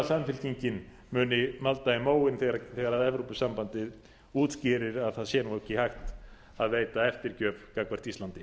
samfylkingin muni malda í móinn þegar evrópusambandið útskýrir að það sé nú ekki hægt að veita eftirgjöf gagnvart íslandi